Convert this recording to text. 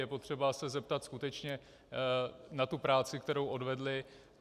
Je potřeba se zeptat skutečně na tu práci, kterou odvedli.